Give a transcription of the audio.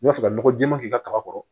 I b'a fɛ ka nɔgɔ jɛɛma k'i ka kaba kɔrɔ